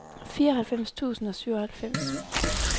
fireoghalvfems tusind og syvoghalvfems